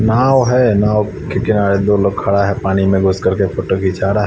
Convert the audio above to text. नाव है नाव के किनारे दो लोग खड़ा है पानी में बैठ कर के फोटो खींचा रहे है।